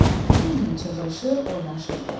Bütün günü çığırışır, oynaşırdılar.